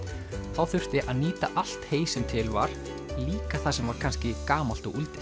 þá þurfti að nýta allt hey sem til var líka það sem var kannski gamalt og